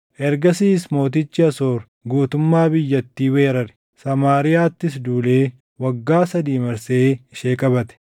Ergasiis mootichi Asoor guutummaa biyyattii weerare; Samaariyaattis duulee waggaa sadii marsee ishee qabate.